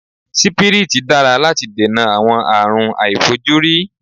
Sípírítì dára láti dènà àwọn àárùn aàìfojúrí.